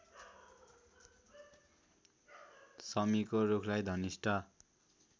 शमीको रूखलाई धनिष्ठा